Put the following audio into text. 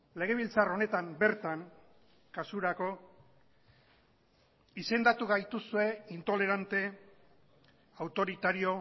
legebiltzar honetan bertan kasurako izendatu gaituzue intolerante autoritario